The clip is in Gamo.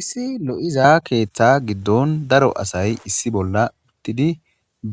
issi lo7iza keeththa giddon daro asay issi bolla uttidi